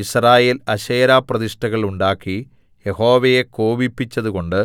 യിസ്രായേൽ അശേരാപ്രതിഷ്ഠകൾ ഉണ്ടാക്കി യഹോവയെ കോപിപ്പിച്ചതുകൊണ്ട്